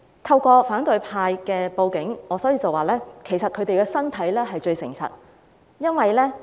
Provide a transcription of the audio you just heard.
透過反對派報警的例子，我要指出的是，他們的身體最誠實。